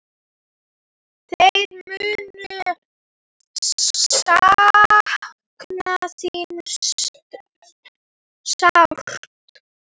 Þeir munu sakna þín sárt.